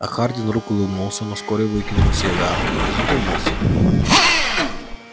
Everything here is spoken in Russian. а хардин вдруг улыбнулся но вскоре выкинул сигару и задумался